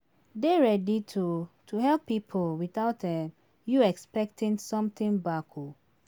Dey ready to to help pipo without um you expecting something back um